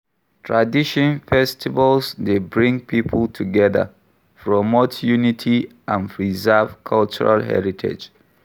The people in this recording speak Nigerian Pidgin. Tradition festivals dey bring people together, promote unity, and preserve cultural heritage.